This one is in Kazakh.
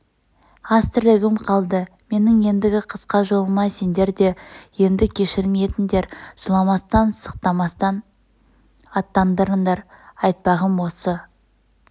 аз тірлігім қалды менің ендгі қысқа жолыма сендер де енді кешірім етіңдер жыламастан-сықтамастан аттандырыңдар айтпағым осы